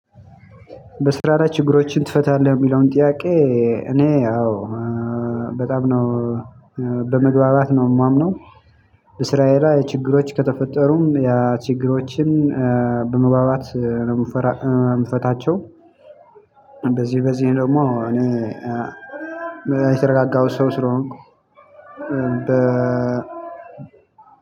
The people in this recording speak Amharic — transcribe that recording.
በስራ ላይ ችግሮችን ትፈታለህ የሚለውን ጥያቄ? እኔ ያው በጣም ነው በመግባባት ነው የማምነው። በስራዬ ላይ ችግሮች ከተፈጠሩም ችግሮችን በመግባባት ነው የምፈታቸው። እንደዚህ በዚህ ደግሞ እኔ የተረጋጋው ሰው ስለሆንኩ። በ